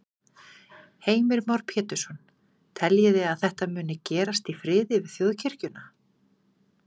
Heimir Már Pétursson: Teljiði að þetta muni gerast í friði við Þjóðkirkjuna?